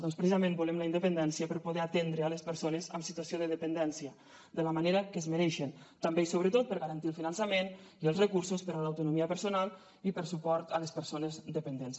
doncs precisament volem la independència per poder atendre les persones en situació de dependència de la manera que es mereixen també i sobretot per garantir el finançament i els recursos per a l’autonomia personal i per suport a les persones dependents